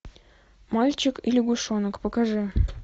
мальчик и лягушонок покажи